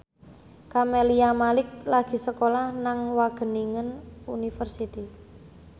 Camelia Malik lagi sekolah nang Wageningen University